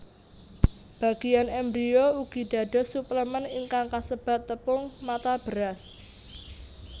Bagéyan embrio ugi dados suplemèn ingkang kasebat tepung mata beras